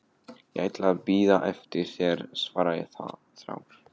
Ég ætla að bíða eftir þér, svara ég þrár.